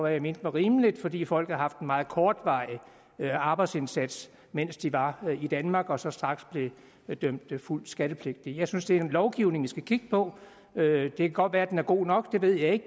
jeg mente var rimeligt fordi folk havde haft en meget kortvarig arbejdsindsats mens de var i danmark og så straks blev dømt fuldt skattepligtige jeg synes det er lovgivningen vi skal kigge på det kan godt være at den er god nok det ved jeg ikke